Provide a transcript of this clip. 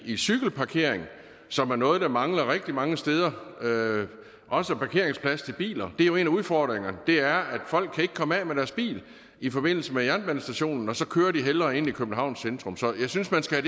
i cykelparkering som er noget der mangler rigtig mange steder og også parkeringsplads til biler det er jo en af udfordringerne det er at folk ikke kan komme af med deres bil i forbindelse med jernbanestationen og så kører de hellere ind i københavns centrum så jeg synes man skal